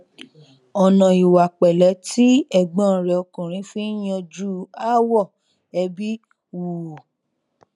ọnà ìwà pẹlẹ tí ẹgbọn rẹ ọkùnrin fi n yanjú aáwọ ẹbí wù ú